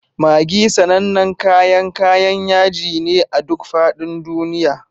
Maggi sanannen kayan kayan yaji ne a duk faɗin duniya.